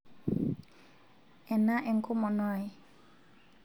ena enkomono ai